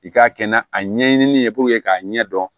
I k'a kɛ na a ɲɛɲinini ye k'a ɲɛ dɔn